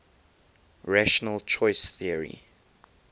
rational choice theory